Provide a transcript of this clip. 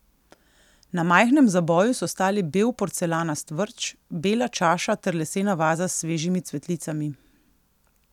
Na majhnem zaboju so stali bel porcelanast vrč, bela čaša ter lesena vaza s svežimi cvetlicami.